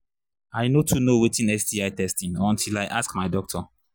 i no too know watin sti testing until i ask my doctor